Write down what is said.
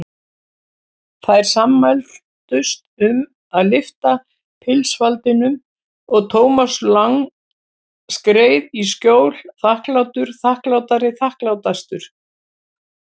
Þær sammæltust um að lyfta pilsfaldinum og Thomas Lang skreið í skjól, þakklátur, þakklátari, þakklátastur.